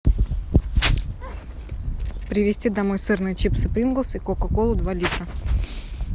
привезти домой сырные чипсы принглс и кока колу два литра